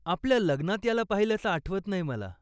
आपल्या लग्नात याला पाहिल्याचं आठवत नाही मला.